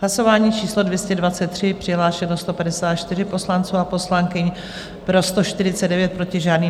Hlasování číslo 223, přihlášeno 154 poslanců a poslankyň, pro 149, proti žádný.